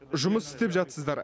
жұмыс істеп жатсыздар